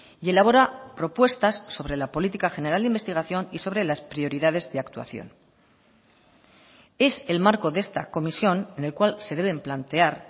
y elabora propuestas sobre la política general de investigación y sobre las prioridades de actuación es el marco de esta comisión en el cual se deben plantear